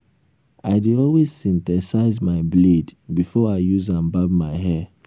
i dey always synthesize my blade before i use am barb my hair